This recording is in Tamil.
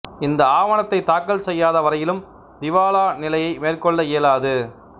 இந்த ஆவணத்தை தாக்கல் செய்யாத வரையிலும் திவாலா நிலையை மேற்கொள்ள இயலாது